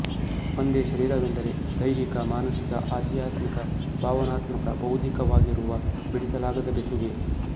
ಒಂದೆ ಶರೀರವೆಂದರೆ ದ್ಯೆಹಿಕ ಮಾನಸಿಕ ಆಧ್ಯಾತ್ಮಿಕ ಭಾವನಾತ್ಮಕ ಬೌದ್ಧಿಕವಾಗಿರುವ ಬಿಡಿಸಲಾಗದ ಬೆಸುಗೆ